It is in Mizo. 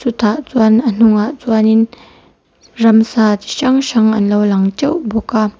tah chuan a hnungah chuanin ramsa chi hrang hrang an lo lang teuh bawk a.